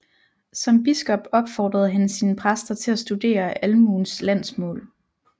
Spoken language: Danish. Som biskop opfordrede han sine præster til at studere almuens landsmål